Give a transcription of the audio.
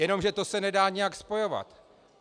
Jenomže to se nedá nijak spojovat.